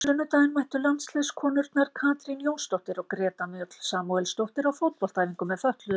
Á sunnudaginn mættu landsliðskonurnar Katrín Jónsdóttir og Greta Mjöll Samúelsdóttir á fótboltaæfingu með fötluðum.